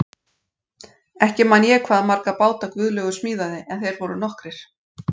Ekki man ég hvað marga báta Guðlaugur smíðaði en þeir voru nokkrir.